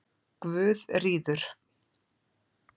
Guðríður